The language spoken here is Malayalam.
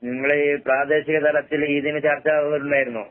നിങ്ങളെ ഈ പ്രാദേശിക തലത്തില് ഇതിന് ചർച്ച വന്നിട്ടുണ്ടായിരുന്നോ?